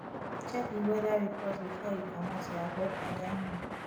check di weather report before you comot to avoid had i known